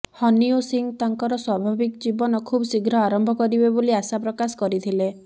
honey ଓ ସିଂହ ତାଙ୍କର ସ୍ୱାଭାବିକ ଜୀବନ ଖୁବ ଶୀଘ୍ର ଆରମ୍ଭ କରିବେ ବୋଲି ଆଶା ପ୍ରକାଶ କରିଥିଲେ